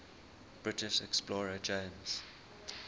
british explorer james